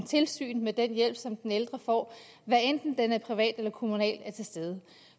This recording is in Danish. tilsyn med den hjælp som den ældre får hvad enten den er privat eller kommunal